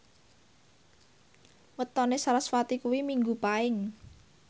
wetone sarasvati kuwi Minggu Paing